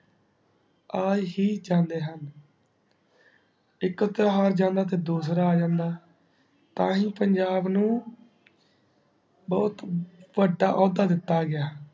ਆ ਹੀ ਜਾਂਦੇ ਹੁਣ ਇਕ ਇਤ੍ਹਾਰ ਜਾਂਦਾ ਤੇ ਦੂਸਰਾ ਆ ਜਾਂਦਾ ਤਾਂ ਹੀ ਪੰਜਾਬ ਨੂ ਬੋਹਤ ਵੱਡਾ ਓਹਦਾ ਦਿਤਾ ਗਿਆ